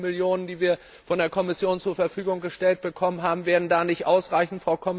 Die 50 Millionen, die wir von der Kommission zur Verfügung gestellt bekommen haben, werden da nicht ausreichen.